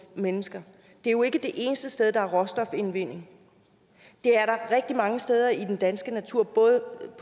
mennesker det er jo ikke det eneste sted der er råstofindvinding det er der rigtig mange steder i den danske natur både